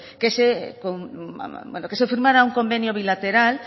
que se firmara un convenio bilateral